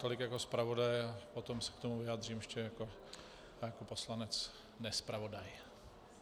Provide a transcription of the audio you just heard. Tolik jako zpravodaj a potom se k tomu vyjádřím ještě jako poslanec nezpravodaj.